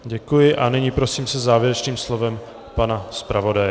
Děkuji a nyní prosím se závěrečným slovem pana zpravodaje.